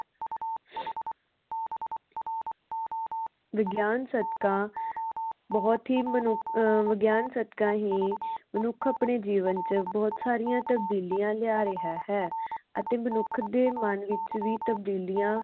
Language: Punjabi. ਵਿਗਿਆਨ ਸਦਕਾ ਬੋਹੋਤ ਹੀ ਮਨੁੱ ਅਹ ਵਿਗਿਆਨ ਸਦਕਾ ਹੀ ਮਨੁੱਖ ਆਪਣੇ ਜੀਵਨ ਵਿਚ ਬੋਹੋਤ ਸਾਰੀਆਂ ਤਬਦੀਲੀਆਂ ਲਿਆ ਰਿਹਾ ਹੈ ਅਤੇ ਮਨੁੱਖ ਦੇ ਮਨ ਵਿਚ ਵੀ ਤਬਦੀਲੀਆਂ